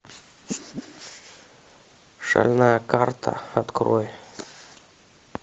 шальная карта открой